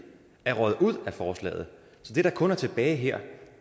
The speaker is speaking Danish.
er røget ud af forslaget det der kun er tilbage her